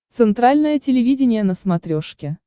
центральное телевидение на смотрешке